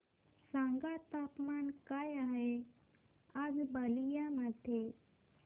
सांगा तापमान काय आहे आज बलिया मध्ये